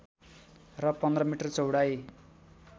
र १५ मिटर चौडाइ